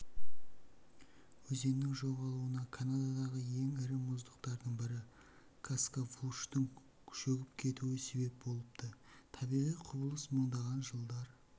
өзеннің жоғалуына канададағы ең ірі мұздықтардың бірі каскавлуштың шөгіп кетуі себеп болыпты табиғи құбылыс мыңдаған жылдар